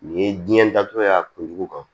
Nin ye diɲɛ datugu y'a kun jugu kan